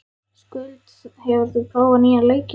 Skuld, hefur þú prófað nýja leikinn?